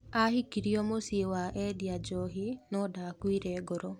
Ahikirio mũciĩ wa endia njohi no ndakuire ngoro.